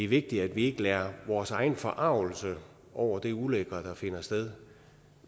vigtigt at vi ikke lader vores egen forargelse over det ulækre der finder sted